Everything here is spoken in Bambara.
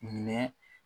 Minɛ